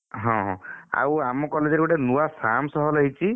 ହଁ ଆଉ ଆମ college ରେ ଗୋଟେ ନୂଆ Sam's hall ହେଇଛି?